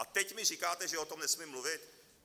A teď mi říkáte, že o tom nesmím mluvit?